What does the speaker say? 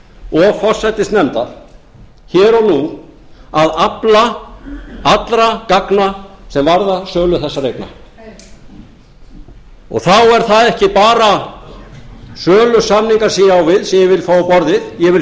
og forsætisnefnda hér og nú að afla allra gagna sem varða sölu þessara eigna þá er það ekki bara sölusamningar sem ég á við sem ég vil fá á borðið ég